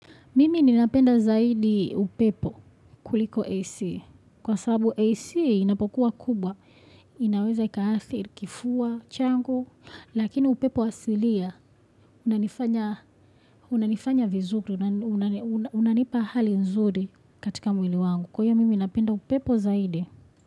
Mimi ninapenda zaidi upepo kuliko AC. Kwa sababu AC inapokuwa kubwa. Inaweza ikaadhiri, kifua changu. Lakini upepo asilia. Unanifanya vizuri. Unanipa hali nzuri katika mwili wangu. Kwa hiyo, mimi ninapenda upepo zaidi.